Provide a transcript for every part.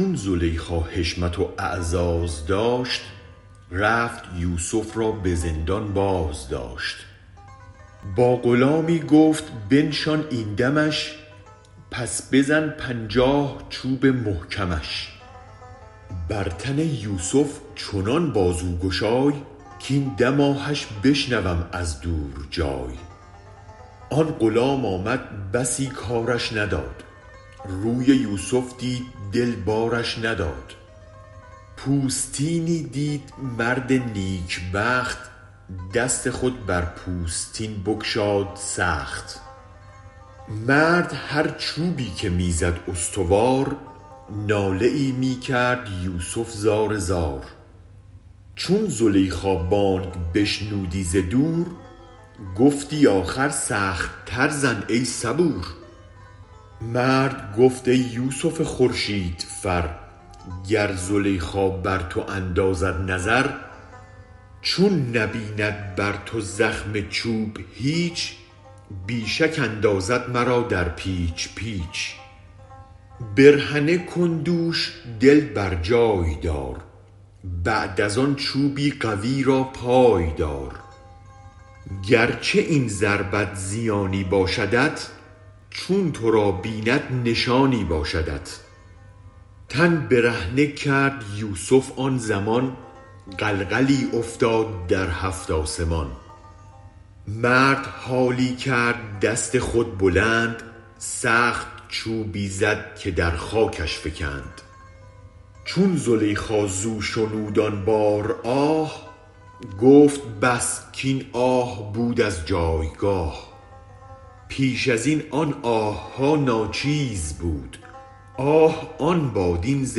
چون زلیخا حشمت واعزاز داشت رفت یوسف را به زندان بازداشت با غلامی گفت بنشان این دمش پس بزن پنجاه چوب محکمش بر تن یوسف چنان بازو گشای کین دم آهش بشنوم از دور جای آن غلام آمد بسی کارش نداد روی یوسف دید دل بارش نداد پوستینی دید مرد نیک بخت دست خود بر پوستین بگشاد سخت مرد هر چوبی که می زد استوار ناله ای می کرد یوسف زار زار چون زلیخا بانگ بشنودی ز دور گفتی آخر سخت تر زن ای صبور مرد گفت ای یوسف خورشید فر گر زلیخا بر تو اندازد نظر چون نبیند بر تو زخم چوب هیچ بی شک اندازد مرا در پیچ پیچ برهنه کن دوش دل برجای دار بعد از آن چوبی قوی را پای دار گرچه این ضربت زیانی باشدت چون ترا بیند نشانی باشدت تن برهنه کرد یوسف آن زمان غلغلی افتاد در هفت آسمان مرد حالی کرد دست خود بلند سخت چوبی زد که در خاکش فکند چون زلیخا زو شنود آن بار آه گفت بس کین آه بود از جایگاه پیش ازین آن آهها ناچیزبود آه آن باد این ز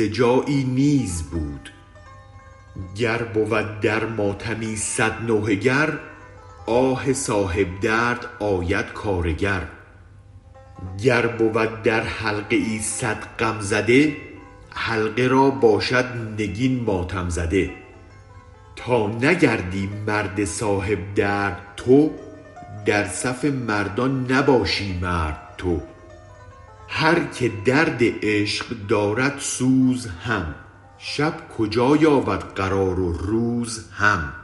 جایی نیز بود گر بود در ماتمی صد نوحه گر آه صاحب درد آید کارگر گر بود در حلقه ای صد غم زده حلقه را باشد نگین ماتم زده تا نگردی مرد صاحب درد تو در صف مردان نباشی مرد تو هر که درد عشق دارد سوز هم شب کجا یابد قرار و روز هم